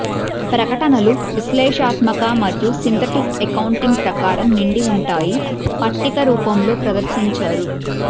ప్రకటనలు విశ్లేషణాత్మక మరియు సింథటిక్ అకౌంటింగ్ ప్రకారం నిండి ఉంటాయి పట్టిక రూపంలో ప్రదర్శించారు